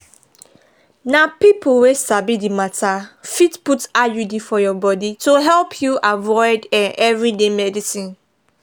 na people wey sabi the matter fit put iud for your body to help you avoid um everyday medicines